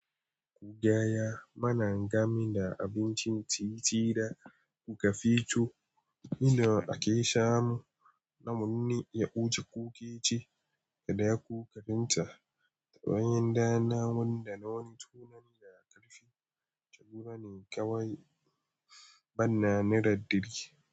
Kugaya, mana gam da abincin titi da kuka fito, inda ake samu namunni, yaƙuce, kukeci, da duka abin ta bayan da namu da na wani tunani da karfi, taguni kawai bana nira dari.